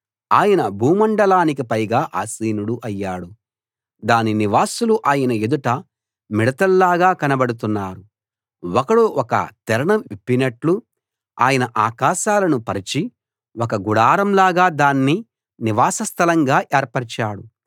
ఆయన భూమండలానికి పైగా ఆసీనుడు అయ్యాడు దాని నివాసులు ఆయన ఎదుట మిడతల్లాగా కనబడుతున్నారు ఒకడు ఒక తెరను విప్పినట్లు ఆయన ఆకాశాలను పరచి ఒక గుడారంలాగా దాన్ని నివాసస్థలంగా ఏర్పరిచాడు